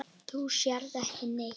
Þú sérð ekki neitt!